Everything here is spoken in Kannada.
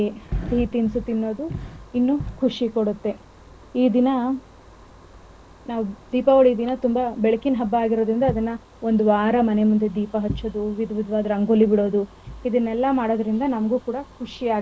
ಇನ್ನೂ ಖುಷಿಕೊಡುತ್ತೇ ಈ ದಿನ ನಾವ್ ದೀಪಾವಳಿ ದಿನ ತುಂಬಾ ಬೆಳಕಿನ ಹಬ್ಬ ಆಗಿರೋದರಿಂದ ಅದನ್ನ ಒಂದವಾರ ಮನೆ ಮುಂದೆ ದೀಪ ಹಚ್ಚೋದು ವಿದ್ವಿದವಾದ ರಂಗೋಲಿ ಬಿಡೋದು ಇದನೆಲ್ಲ ಮಾಡೋದರಿಂದ ನಮಗೂ ಕೂಡ ಖುಷಿ ಆಗುತ್ತೆ.